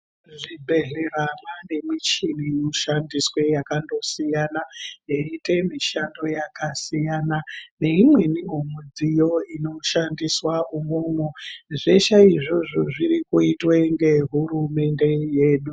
Muzvibhehlera mwaanemichini inoshandiswe yakandosiyana yeiite mishando yakasiyana. Neimweniwo midziyo inoshandiswe umwomwo . Zveshe izvozvo zvirikuitwe ngehurumende yedu.